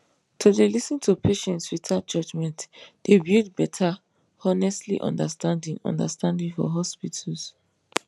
to dey lis ten to patients without judgement dey build better honestly understanding understanding for hospitals